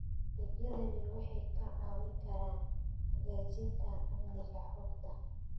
Adeegyadani waxay kaa caawin karaan hagaajinta amniga xogta.